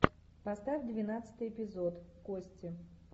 поставь двенадцатый эпизод кости